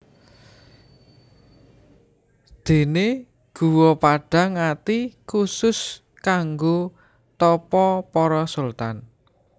Déné Guwa Padhang Ati khusus kanggo tapa para sultan